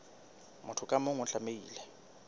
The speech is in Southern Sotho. motho ka mong o tlamehile